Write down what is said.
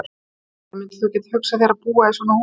Þórhildur: Myndir þú geta hugsað þér að búa í svona húsi?